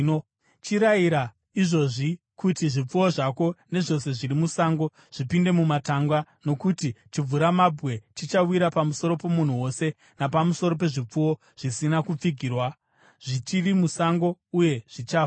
Chirayira izvozvi kuti zvipfuwo zvako nezvose zviri musango zvipinde mumatanga, nokuti chimvuramabwe chichawira pamusoro pomunhu wose napamusoro pezvipfuwo zvisina kupfigirwa zvichiri musango, uye zvichafa.’ ”